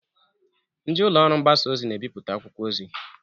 Ndị ụlọ ọrụ mgbasa ozi n'ebiputa akwụkwọ ozi